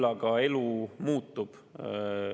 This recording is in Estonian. Aga elu muutub.